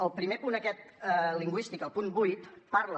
el primer punt aquest lingüístic el punt vuit parla